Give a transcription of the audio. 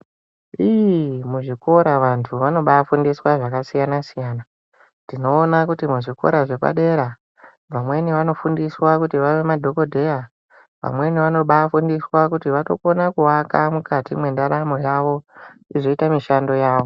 Iiii muzvikora vantu vanobaafundiswa zvakasiyana-siyana. Tinoona kuti muzvikora zvepadera , vamweni vanofundiswa kuti vave madhokodheya , vamweni vanobaafundiswa kuti vatokona kuaka mukati mwendaramo yavo, izoita mishando yavo .